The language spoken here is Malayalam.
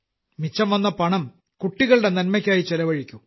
മിച്ചംവന്ന പണം കുട്ടികളുടെ നന്മയ്ക്കായി ചിലവഴിക്കൂ